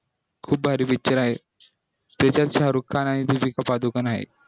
खूप भारी picture आहे त्याच्यात सारुक खान आणि दिपीका पदुकोण आहे